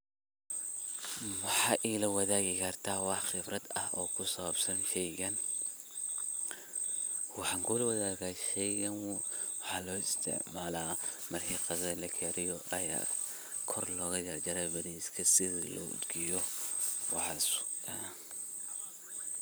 Waxa igala wadagi karta wa qibrad ah kusabsan sheygan, waxan kulawadada sheygan waxa lo istacmala marki qadada lakariyo aya kor loga jar jara bariska, sidhi loo udgiyo waxas waye.